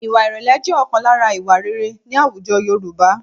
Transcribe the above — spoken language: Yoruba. Ìwà ìrẹ̀lẹ̀ jẹ́ ọ̀kan lára ìwà rere ní àwùjọ Yorùbá